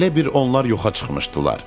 Elə bil onlar yoxa çıxmışdılar.